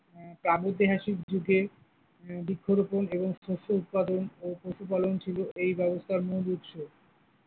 প্রাগৈতিহাসিক যুগে উম বৃক্ষরোপণ এবং শস্য উৎপাদন ও পশুপালন ছিল এই ব্যবস্থার মূল উৎস।